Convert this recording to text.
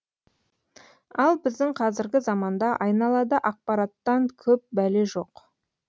ал біздің қазіргі заманда айналада ақпараттан көп бәле жоқ